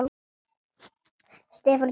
Stefán gerði það líka.